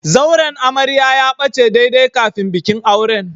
Zauren amarya ya bace daidai kafin bikin auren.